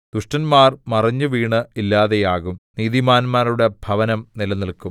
ദുഷ്ടന്മാർ മറിഞ്ഞുവീണ് ഇല്ലാതെയാകും നീതിമാന്മാരുടെ ഭവനം നിലനില്ക്കും